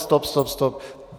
Stop, stop, stop!